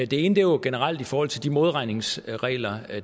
det ene er jo generelt i forhold til de modregningsregler